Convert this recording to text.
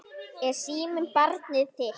Er síminn barnið þitt?